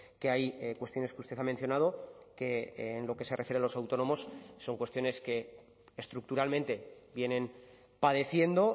que hay cuestiones que usted ha mencionado que en lo que se refiere a los autónomos son cuestiones que estructuralmente vienen padeciendo